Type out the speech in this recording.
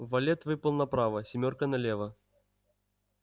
валет выпал направо семёрка налево